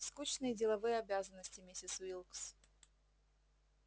скучные деловые обязанности миссис уилкс